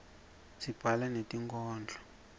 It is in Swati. sibhala netinkhondlo